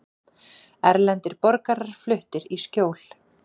Erlendir borgarar fluttir í skjól